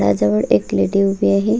त्या जवळ एक लेडी उभी आहे.